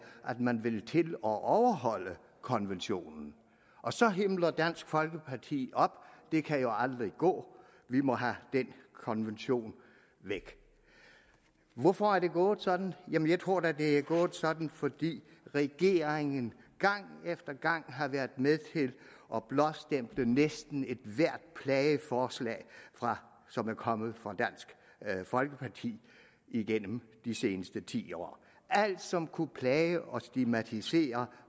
at man vil til at overholde konventionen og så himler dansk folkeparti op det kan jo aldrig gå vi må have den konvention væk hvorfor er det gået sådan jamen jeg tror da det er gået sådan fordi regeringen gang efter gang har været med til at blåstemple næsten ethvert plageforslag som er kommet fra dansk folkeparti igennem de seneste ti år alt som kunne plage og stigmatisere